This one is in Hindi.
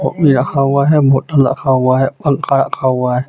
कॉपी रखा हुआ हे बॉटल रखा हुआ हे पंखा रखा हुआ हे.